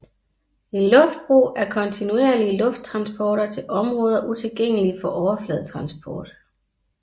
En luftbro er kontinuerlige lufttransporter til områder utilgængelige for overfladetransport